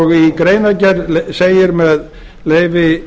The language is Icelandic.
og í greinargerð segir með leyfi